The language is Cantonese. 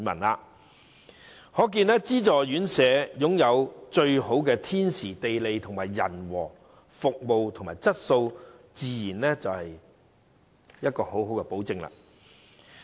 由此可見，資助院舍擁有最好的天時、地利、人和，其服務及質素自然有保證。